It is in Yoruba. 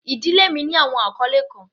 Ìdílé mi ní awọn akọle kan.